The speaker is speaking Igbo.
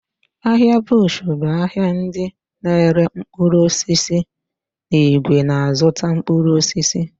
Ahịa bush bụ ahịa ndị n'ere mkpụrụ osisi n'ìgwè na-azụta mkpụrụ osisi.